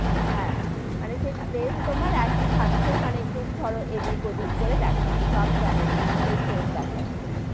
হ্যা, মানে সেই place তোমার একই থাকছে, মানে একটু ধরো এদিক-ওদিক করে দেখাচ্ছে, সব channel গুলি তেই same দেখাচ্ছে,